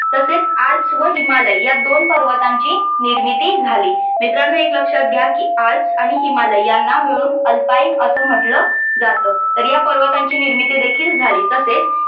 तसेच आल्प्स व हिमालय या दोन पर्वतांची निर्मिती झाली. मित्रांनो एक लक्षात घ्या की आल्प्स आणि हिमालय यांना मिळून अल्पाइन असं म्हटलं जातं तर या पर्वतांची निर्मिती देखील झाली. तसेच